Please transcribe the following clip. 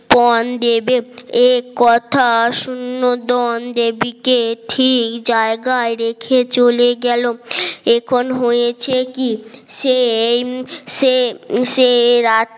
পন দেবের এ কথা শূন্য দন দেবীকে ঠিক জায়গায় রেখে চলে গেল এখন হয়েছে কি সেই সে সে রাত